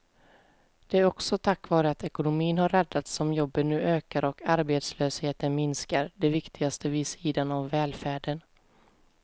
Det är också tack vare att ekonomin har räddats som jobben nu ökar och arbetslösheten minskar, det viktigaste vid sidan av välfärden.